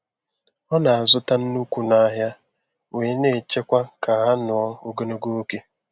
Ọ na-azụta na nnukwu n'ahịa, wee na-echekwa ha ka hh nụọ ogologo oge.